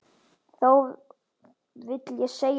Þó vil ég segja eitt.